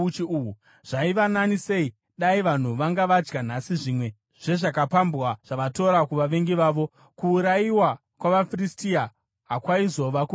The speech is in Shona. Zvaiva nani sei dai vanhu vanga vadya nhasi zvimwe zvezvakapambwa zvavakatora kuvavengi vavo. Kuurayiwa kwavaFiristia hakwaizova kukuru here?”